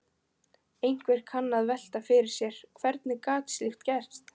Einhver kann að velta fyrir sér: Hvernig gat slíkt gerst?